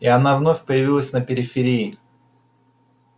и она вновь появилась на периферии